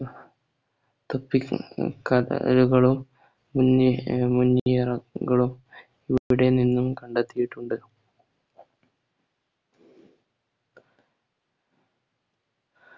തൊപ്പി ക കടലുകളും മുന്നി മുനിയറകളും ഇവിടെ നിന്നും കണ്ടെത്തിയിട്ടുണ്ട്